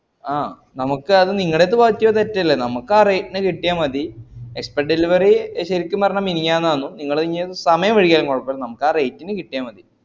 ആഹ് നമുക്കത് നിങ്കലേടത് പറ്റിയ തെറ്റല്ലേ നമുക്ക് ആ rate ന് കിട്ടിയാ മതി expect delivery ശരിക്കും പറഞ്ഞാ മിനിഞാനാന്നു നിങ്ങൾ ഇനി അതു സമയം വഴുകിയാലും കൊയപ്പല്ല ആ rate ന് കിട്ട്യാ മതി